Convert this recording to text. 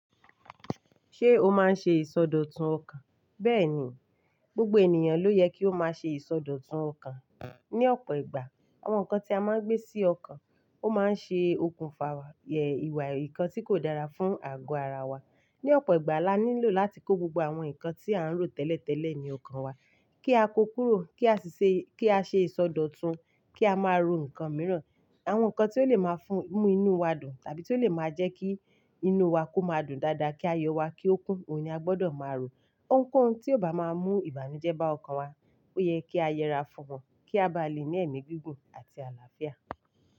Ṣé o máa ń ṣe ìsọdọ̀tun ọkàn? Bẹ́ẹ̀ni, gbogbo ènìyàn ló yẹ kí ó máa ṣe ìsọdọ̀tun ọkàn. Ni ọ̀pọ̀ ìgbà, àwọn nǹkan tí a máa ń gbé sí ọkàn ó máa ń ṣe okùnfà ìwà ìkan tí kò dára fún àgọ́ ara wa. Ni ọ̀pọ̀ ìgbà, la nílò láti kó gbogbo àwọn nǹkan tí à ń rò tẹ́lẹ̀tẹ́lẹ̀ ní ọkàn wa kí a kó kúrò, kí a si ṣe ki a se ìsọdọ̀tun, kí a máa ro nǹkan mìíràn. Àwọn nǹkan tí ó lè máa fún mú inú wa dùn tàbí tí ó lè máa jẹ́ kí inú wa kó máa dùn dáadáa, kí ayọ̀ wa kí ó kún, òun ni a gbọdọ̀ máa rò. Ohunkóhun tí ó bá máa mú ìbànújẹ́ bá ọkàn wa ó yẹ kí a yẹra fún wan, kí a bá le ní ẹ̀mí gígùn àti àlàáfíà.